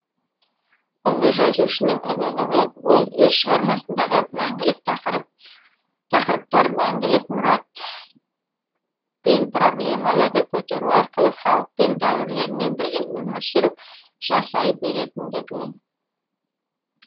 ұлы жазушының ұлылығы ол өз шығармасындағы мәңгілік тақырыптар мәңгілік мұрат мен проблемаларды көтеру арқылы халықпен дәуірлермен бірге өмір сүріп жасай беретіндігі